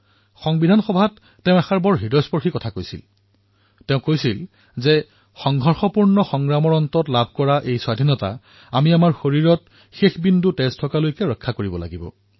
সংবিধান সভাত তেওঁলোকে এক অতিশয় ভাবুক আপীল কৰিছিল যে ইমান সংঘৰ্ষৰ পিছত পোৱা স্বতন্ত্ৰতাৰ ৰক্ষা আমি নিজৰ শেষ টোপাল তেজ থকালৈকে ৰক্ষা কৰিব লাগিব